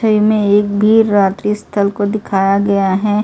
मे एक भी रात्रि अस्थल को दिखाया गया है।